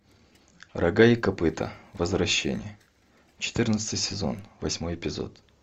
рога и копыта возвращение четырнадцатый сезон восьмой эпизод